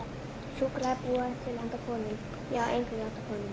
Súkkulaði er búið til handa konum, já, eingöngu handa konum.